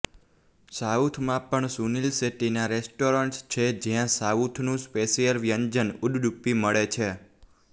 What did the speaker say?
સાઉથમાં પણ સુનિલ શેટ્ટીના રેસ્ટોરેન્ટસ છે જ્યા સાઉથનું સ્પેશિયલ વ્યંજન ઉડ્ડુપી મળે છે